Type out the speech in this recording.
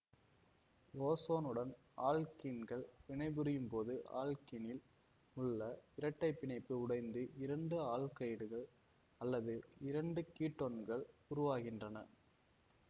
ஓசோனுடன் ஆல்க்கீன்கள் வினைபுரியும் போது ஆல்க்கீனில் உள்ள இரட்டைப்பிணைப்பு உடைந்து இரண்டு ஆல்டிகைடுகள் அல்லது இரண்டு கீட்டோன்கள் உருவாகின்றன